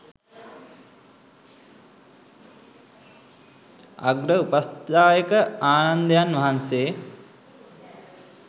අග්‍ර උපස්ථායක ආනන්දයන් වහන්සේ